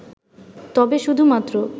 তবে শুধুমাত্র